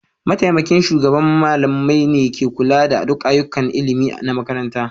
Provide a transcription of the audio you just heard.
Mataimakin shugaban malamai ne ke kula da duk ayyukan ilimi na makarantar.